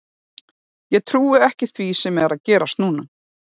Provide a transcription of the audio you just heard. Ég trúi ekki því sem er að gerast núna.